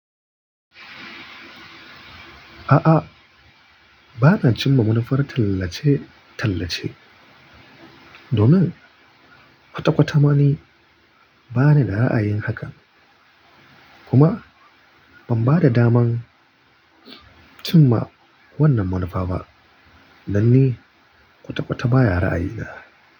A'a, ba na cin ma munafar tallace-tallace domin kwata kwata ma ni ba ni da ra'ayin haka. Kuma ban ba da daman cin ma wannan manufa ba dan ni kwata kwata ba ya ra'ayi da.